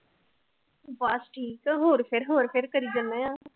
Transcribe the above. ਬਸ ਠੀਕ ਹੋਰ ਫਿਰ ਹੋਰ ਫਿਰ ਕਰੀ ਜਾਦੇ